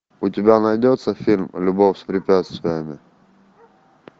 у тебя найдется фильм любовь с препятствиями